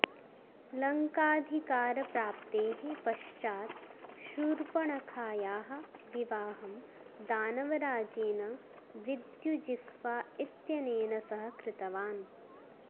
लङ्काधिकारप्राप्तेः पश्चात् शूर्पणखायाः विवाहं दानवराजेन विद्युजिह्वा इत्यनेन सह कृतवान्